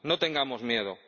No tengamos miedo.